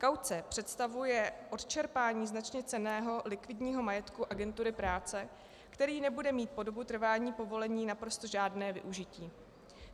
Kauce představuje odčerpání značně cenného likvidního majetku agentury práce, který nebude mít po dobu trvání povolení naprosto žádné využití.